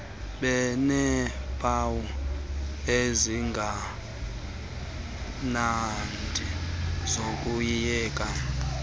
beneempawu ezingemnandi zokuyeka